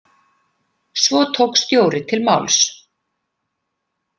Svo tók Stjóri til máls.